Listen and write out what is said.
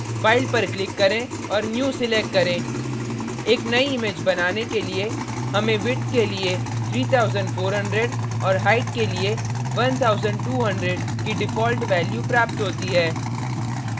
file पर click करें और new select करें एक new image बनाने के लिए और हमें विड्थ के लिए 3400 और height के लिए 1200 की default value प्राप्त होती है